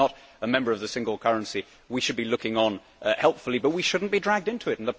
Britain is not a member of the single currency we should be looking on helpfully, but we should not be dragged into it.